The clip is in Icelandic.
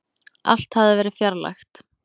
Allt hafði verið fjarlægt.